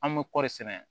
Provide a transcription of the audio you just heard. An bɛ kɔri sɛnɛ